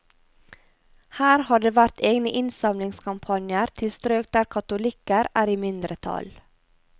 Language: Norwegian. Her har det vært egne innsamlingskampanjer til strøk der katolikker er i mindretall.